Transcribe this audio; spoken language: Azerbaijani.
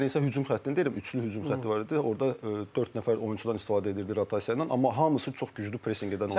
Mən isə hücum xəttini deyirəm, üçlü hücum xətti var idi, orda dörd nəfər oyunçudan istifadə edirdi rotasiya ilə, amma hamısı çox güclü presinq edən oyunçular idi.